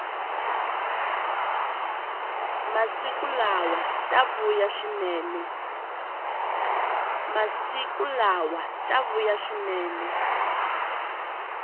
masiku lawa ta vuya swinene